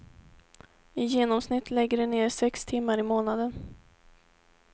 I genomsnitt lägger de ner sex timmar i månaden.